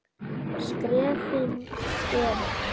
Skrefin eru